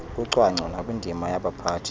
kucwangco nakwindima yabaphathi